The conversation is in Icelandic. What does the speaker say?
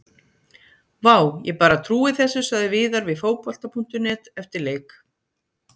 Vá, ég bara trúi þessu sagði Viðar við Fótbolta.net eftir leik.